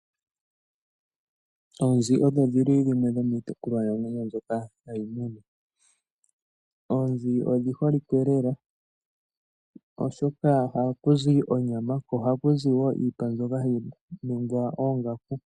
Oonzi odho dhili dhimwe dhomiitekulwa namwenyo mbyoka hayi munwa. Oonzi odhi holike lela oshoka ohaku zi onyama nosho woo iipa mbyoka hayi ningi oongaku.